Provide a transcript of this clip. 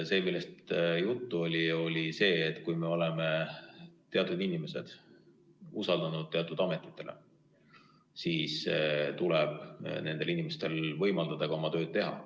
See, millest juttu oli, oli see, et kui me oleme teatud inimesed usaldanud teatud ametitesse, siis tuleb nendel inimestel võimaldada ka oma tööd teha.